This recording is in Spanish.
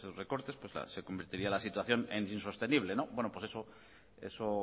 recortes se convertiría la situación en insostenible bueno pues eso